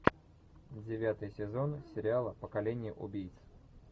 девятый сезон сериала поколение убийц